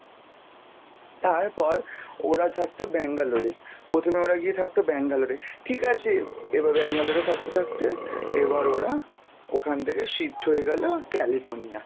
তারপর ওরা থাকতো ব্যাঙ্গালোরে, প্রথমে ওরা গিয়ে থাকতো ব্যাঙ্গালোরে, ঠিক আছে এবার ব্যাঙ্গালোরে থাকতে থাকতে এবার ওরা ওখান থেকে shift হয়ে গেল California